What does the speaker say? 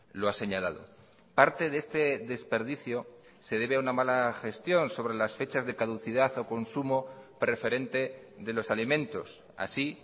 lo ha señalado parte de este desperdicio se debe a una mala gestión sobre las fechas de caducidad o consumo preferente de los alimentos así